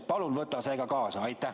Palun võta ka see teema kaasa!